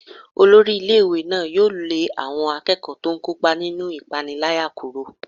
Olórí ilé-ìwé náà yóò lé àwọn akẹ́kọ̀ọ́ tó ń kópa nínú ìpániláyà kúrò.